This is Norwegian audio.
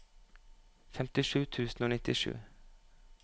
femtisju tusen og nittisju